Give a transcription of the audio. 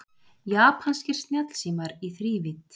Japanskir snjallsímar í þrívídd